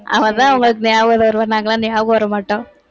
அவதான் உங்களுக்கு நியாபகம் வருவா நாங்கெல்லாம் ஞாபகம் வர மாட்டோம்.